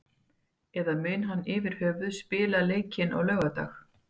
Eða mun hann yfirhöfuð spila leikinn á laugardag?